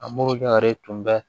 A morijare tun bɛ